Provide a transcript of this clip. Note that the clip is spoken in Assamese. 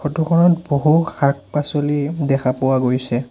ফটো খনত বহু শাক-পাছলি দেখা পোৱা গৈছে।